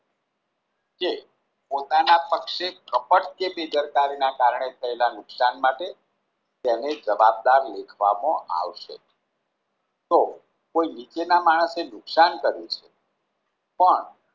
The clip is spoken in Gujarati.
કે પોતાના પક્ષે કપટ કે બેદરકારીના કારણે થયેલા નુકશાન માટે તેમને જવાબદાર લેખવામાં આવશે તો કોઈ નીચેના માણસોને નુકશાન કર્યું છે પણ